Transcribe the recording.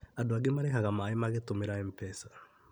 Andũ angĩ marĩhaga maaĩ magĩtũmĩra MPESA